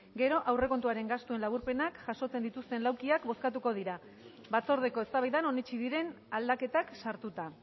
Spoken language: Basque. gero aurrekontuaren gastuaren laburpenak jasotzen dituzten laukiak bozkatuko dira batzordeko eztabaidan onetsi diren aldaketak sartuta